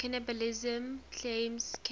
cannibalism claims came